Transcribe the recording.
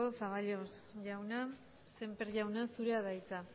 zaballos jauna sémper jauna zurea da hitza